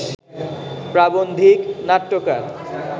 প্রাবন্ধিক, নাট্যকার